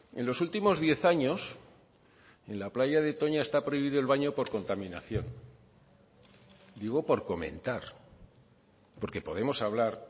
en los últimos diez años en la playa de toña está prohibido el baño por contaminación digo por comentar porque podemos hablar